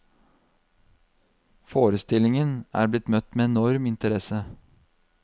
Forestillingen er blitt møtt med enorm interesse.